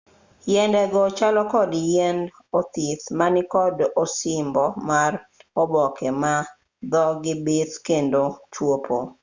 yiende go chalo kod yiend othith ma nikod osimbo mar oboke ma dhogi bith kendo chwopo